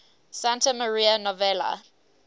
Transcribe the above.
santa maria novella